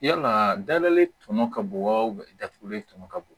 Yalaa dala tɔŋɔ ka bon wa datugulen tɔ ka bɔ